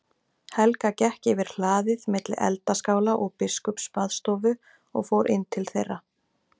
Helga gekk yfir hlaðið milli eldaskála og biskupsbaðstofu og fór inn til þeirra.